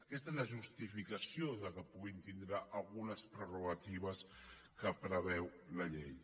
aquesta és la justificació que poden tindre algunes prerrogatives que preveu la llei